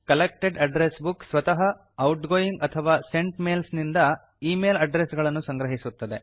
collected address book ಸ್ವತಃ outgoing ಅಥವಾ sent mails ನಿಂದ ಈ ಮೇಲ್ ಅಡ್ಡ್ರೆಸ್ ಗಳನ್ನು ಸಂಗ್ರಹಿಸುತ್ತದೆ